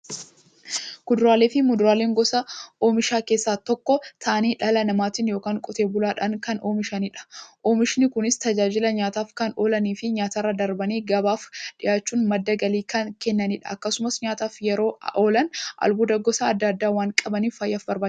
Kuduraafi muduraan gosa oomishaa keessaa tokko ta'anii, dhala namaatin yookiin Qotee bulaadhan kan oomishamaniidha. Oomishni Kunis, tajaajila nyaataf kan oolaniifi nyaatarra darbanii gabaaf dhiyaachuun madda galii kan kennaniidha. Akkasumas nyaataf yeroo oolan, albuuda gosa adda addaa waan qabaniif, fayyaaf barbaachisoodha.